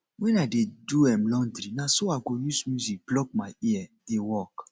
wen i dey do um laundry na so i go use music block my ear um dey work